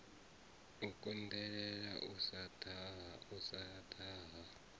u konḓelela u sa daha